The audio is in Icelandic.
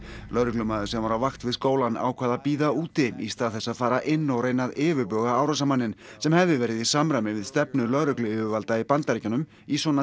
lögreglumaður sem var á vakt við skólann ákvað að bíða úti í stað þess að fara inn og reyna að yfirbuga árásarmanninn sem hefði verið í samræmi við stefnu lögregluyfirvalda í Bandaríkjunum í svona